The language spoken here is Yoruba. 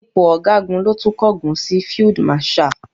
Ipò Ọ̀gágun ló tún kángun sí Field Marshal.